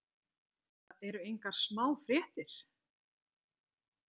Þetta eru engar smá fréttir.